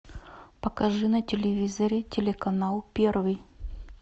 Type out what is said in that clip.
покажи на телевизоре телеканал первый